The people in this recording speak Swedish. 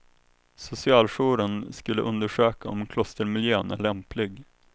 Socialjouren skulle undersöka om klostermiljön är lämplig.